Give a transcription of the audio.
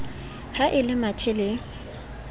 ha e le mathe le